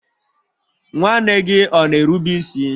nwanne gị ọ na-erube isi?